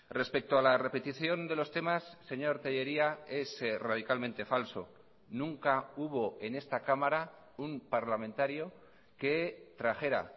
respecto a la repetición de los temas señor tellería es radicalmente falso nunca hubo en esta cámara un parlamentario que trajera